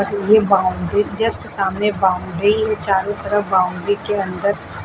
ये boundary just सामने boundary चारों तरफ बाउंड्री के अंदर --